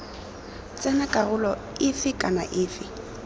tsena karolo efe kana efe